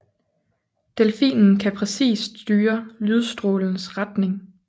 Delfinen kan præcist styre lydstrålens retning